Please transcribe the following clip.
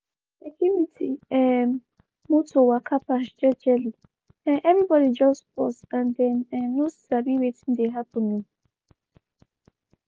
di security um motor waka pass jejely um everybody just pause and dem um no sabi wetin dey happen o.